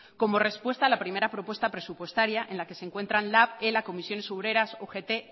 como respuesta a la primera propuesta presupuestaria en la que se encuentran lab ela comisiones obreras ugt esk